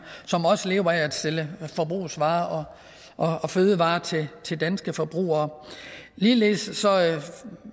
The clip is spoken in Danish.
som også lever af at sælge forbrugsvarer og og fødevarer til til danske forbrugere ligeledes